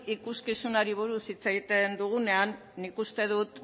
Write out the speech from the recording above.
ikuskizunari buruz hitz egiten dugunean nik uste dut